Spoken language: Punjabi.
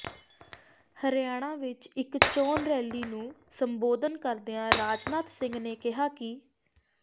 ਹਰਿਆਣਾ ਵਿੱਚ ਇੱਕ ਚੋਣ ਰੈਲੀ ਨੂੰ ਸੰਬੋਧਨ ਕਰਦਿਆਂ ਰਾਜਨਾਥ ਸਿੰਘ ਨੇ ਕਿਹਾ ਕਿ